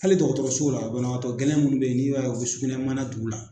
Hali dɔgɔtɔrɔsow la banabaatɔ gɛlɛn munnu bɛ yen n'i u y'a kɛ u bɛ sugunɛ mana tugu la.